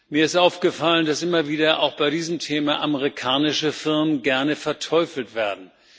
Mir ist aufgefallen, dass immer wieder auch bei diesem Thema amerikanische Firmen gerne verteufelt werden.